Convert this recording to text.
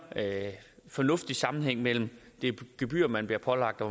fornuftig sammenhæng mellem det gebyr man bliver pålagt og